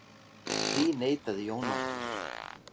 Því neitaði Jón Ásgeir.